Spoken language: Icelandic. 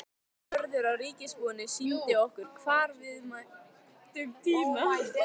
Vörður á ríkisbúinu sýndi okkur hvar við mættum tína.